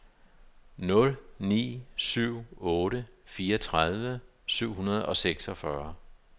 nul ni syv otte fireogtredive syv hundrede og seksogfyrre